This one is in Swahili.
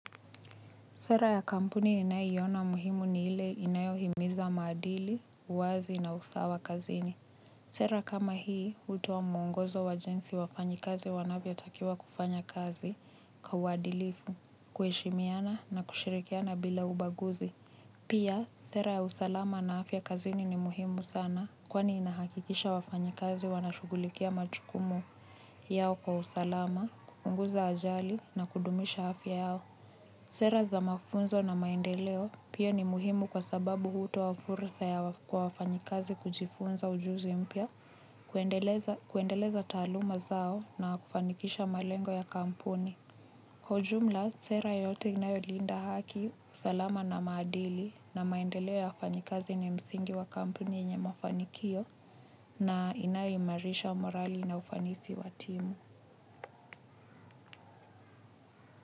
Sera ya kampuni ninayiona muhimu ni ile inayohimiza maadili, uwazi na usawa kazini. Sera kama hii, utuwa mungozo wa jinsi wafanyi kazi wanavyo takiwa kufanya kazi kwa wadilifu, kueshimiana na kushirikiana bila ubaguzi. Pia, sera ya usalama na afya kazini ni muhimu sana kwani inahakikisha wafanyi kazi wanachugulikia machukumu yao kwa usalama, kupunguza ajali na kudumisha afya yao. Sera za mafunzo na maendeleo pio ni muhimu kwa sababu hutowa fursa ya kwa wafanyikazi kujifunza ujuzi mpya, kuendeleza taluma zao na kufanikisha malengo ya kampuni. Kwa jumla, sera yote inayo linda haki usalama na maadili na maendeleo ya wafanyikazi ni msingi wa kampuni yenye mafanikio na inaimarisha morali na ufanisi wa timu.